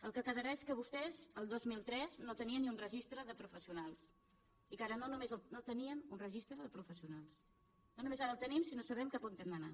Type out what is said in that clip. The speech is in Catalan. el que quedarà és que vostès el dos mil tres no tenien ni un registre de professionals no teníem un registre de professionals no només ara el tenim sinó que sabem cap a on hem d’anar